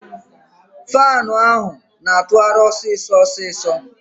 Faanu ahụ na-atụgharị ọsịsọ ọsịsọ.